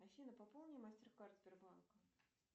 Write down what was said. афина пополни мастер кард сбербанка